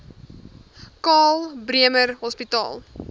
karl bremer hospitaal